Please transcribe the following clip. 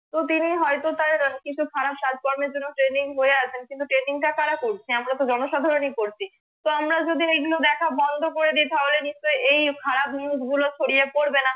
তো তিনি হয়তো তার কিছু খারাপ কাজ কর্মের জন্য trending হয়েআছেন কিন্তু trending টা করা করছে আমরা তো জনসাধারণ ই করছি তো আমরা যদি এইগুলো দেখা বন্ধ করেদি তাহলে নিশ্চই এই খারাপ news গুলো ছড়িয়ে পড়বে না